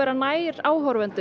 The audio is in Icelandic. nær áheyrendum